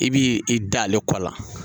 I b'i i da ale kɔ la